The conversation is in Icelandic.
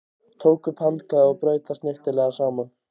Tók upp handklæðið og braut það snyrtilega saman.